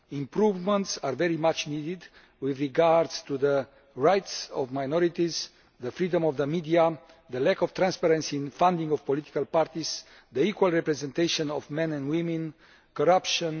Improvements are very much needed with regard to the rights of minorities, the freedom of the media, the lack of transparency and funding of political parties, the equal representation of men and women, corruption.